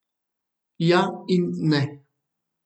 Ja in ne.